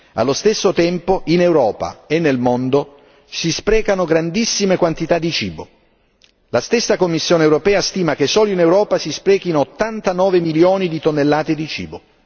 allo stesso tempo, in Europa e nel mondo si sprecano grandissime quantità di cibo la stessa Commissione europea stima che solo in Europa si sprechino 89 milioni di tonnellate di cibo.